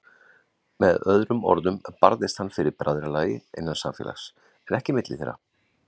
Með öðrum orðum barðist hann fyrir bræðralagi, innan samfélags, en ekki milli þeirra.